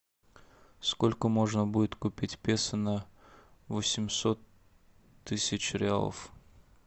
сколько можно будет купить песо на восемьсот тысяч реалов